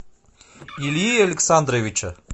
ильи александровича